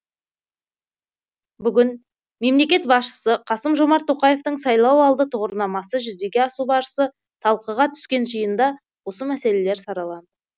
бүгін мемлекет басшысы қасым жомарт тоқаевтың сайлауалды тұғырнамасы жүзеге асу барысы талқыға түскен жиында осы мәселелер сараланды